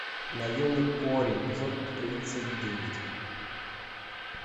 наемник кори эпизод тридцать девять